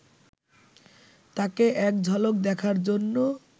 তাকে এক ঝলক দেখার জন্য